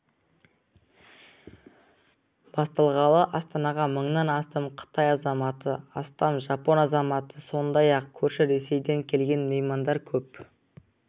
басталғалы астанаға мыңнан астам қытай азаматы астам жапон азаматы сондай-ақ көрші ресейден келген меймандар көп